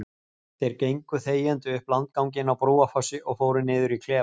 Þeir gengu þegjandi upp landganginn á Brúarfossi og fóru niður í klefa.